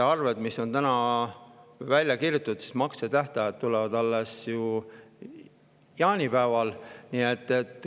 Nende väljakirjutatud arvete maksetähtaeg tuleb alles jaanipäeval.